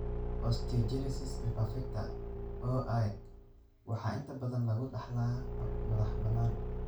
Osteogenesis imperfecta (OI) waxaa inta badan lagu dhaxlaa hab madax-bannaan.